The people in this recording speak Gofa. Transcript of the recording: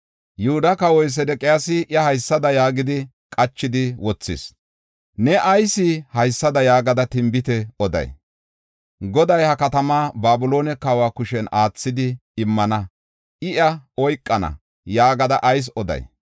Yihuda kawoy Sedeqiyaasi iya haysada yaagidi qachidi wothis: “Ne ayis haysada yaagada tinbite oday? ‘Goday ha katamaa Babiloone kawa kushen aathidi immana; I iya oykana’ yaagada ayis oday.